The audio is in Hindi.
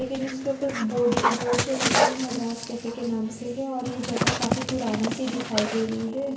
लेकिन इसके ऊपर बोर्डे जो लगा है वो मद्रास कैफे के नाम से है और ये जगह काफी पुरानी सी दिखाई दे रही है।